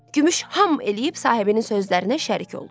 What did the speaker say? Gümüş ham eləyib sahibinin sözlərinə şərik oldu.